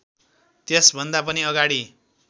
त्यसभन्दा पनि अगाडि